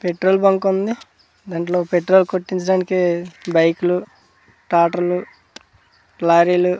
petrol బంకుంది దాంట్లో petrol కొట్టించడానికి బైకులు టాటర్లు లారీలు --